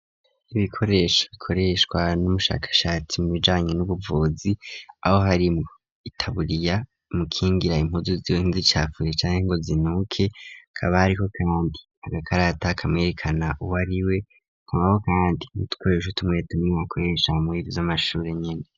Ibikoresho ikoreshwa n'umushakashatsi mu bijanye n'ubuvuzi aho harimo itaburiya mu kingira impuzu ziwe nz'icafuye cane ngo zinuke kaba ariho kandi agakarata kamwerekana uwariwe ku maho kandi nitkoresho tumwe tumwe wakoresha mugihe c'amashuri nyine.